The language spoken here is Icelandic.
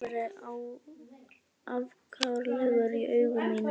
Vil ekki að þú verðir afkáralegur í augum mínum.